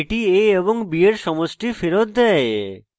এটি a এবং b এর সমষ্টি ফেরৎ দেয়